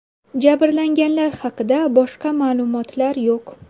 Jabrlanganlar haqida boshqa ma’lumotlar yo‘q.